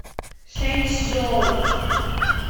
шэнчжоу